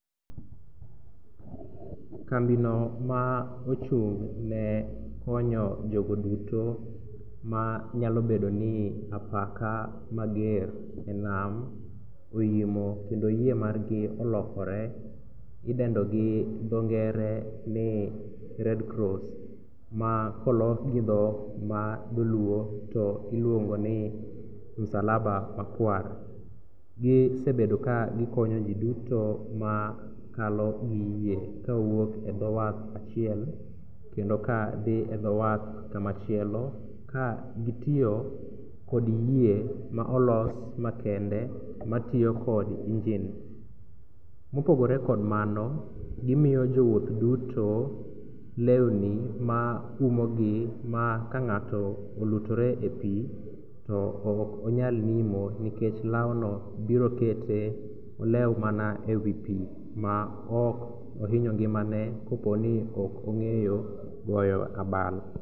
Kambino ma ochung'ne konyo jogo duto manyalobedo ni apaka mager e nam oimo kendo yie margi olokore idendo gi dho ngere ni red cross ma kolok gi dholuo to iluongo ni masalaba makwar, gisebedo kagikonyo ji duto makalo gi yie ka owuok e dho wath achiel kendo kadhi e dho wath kamachielo kakagitiyo kod yie ma olos makende matiyo kod engine. Mopogore kod mano, gimiyo jowuoth duto lewni maumogi ma ka ng'ato olutore e pi tokonyal nimo nikech lawno biro kete olew mana e wi pi maok ohinyo ngimane koponi ok ong'eyo goyo abal.